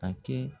A kɛ